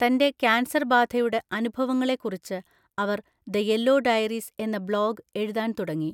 തന്‍റെ കാൻസർബാധയുടെ അനുഭവങ്ങളെക്കുറിച്ച് അവര്‍ ദ യെല്ലോ ഡയറീസ് എന്ന ബ്ലോഗ് എഴുതാൻ തുടങ്ങി.